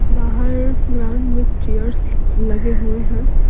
बाहर ग्राउंड में चेयर्स लगे हुए हैं।